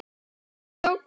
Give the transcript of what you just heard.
Ekkert mjög flókið.